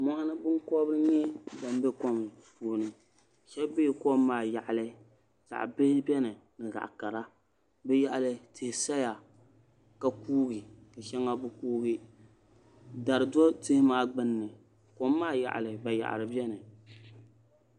Mɔɣuni binkɔbiri nyɛ bam bɛ kom puuni shɛba bɛla kom maa yaɣili zaɣi bihi bɛni ni zaɣi kara di yaɣili tihi saya ka kuugi ka ahɛŋa bi kuugi dari do tihi maa gbinni kom maa yaɣili bayaɣri bɛni.